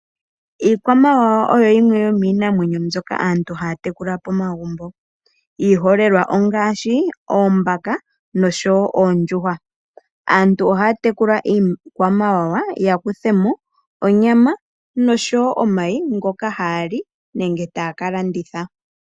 Iikwamawawa oyo yimwe yomiinamwenyo mbyoka aantu haya tekula pomagumbo, iiholelwa ongaashi oombaka, noshowo oondjuhwa. Aantu ohaya tekula iikwamawawa ya kuthemo onyama noshowo omayi ngoka haya li, nenge taya ka landitha.